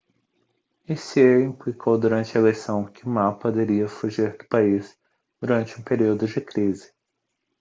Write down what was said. hsieh implicou durante a eleição que ma poderia fugir do país durante um período de crise